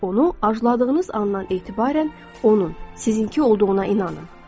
Onu arzuladığınız andan etibarən onun sizinki olduğuna inanın.